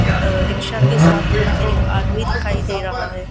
अ rickshaw के साथ एक आदमी दिखाई दे रहा है।